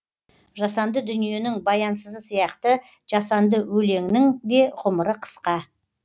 жасанды дүниенің баянсызы сияқты жасанды өлеңнің де ғұмыры қысқа